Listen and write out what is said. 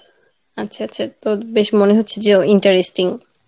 আচ্ছা, আচ্ছা আচ্ছা তো বেশ মনেহচ্ছে যে interesting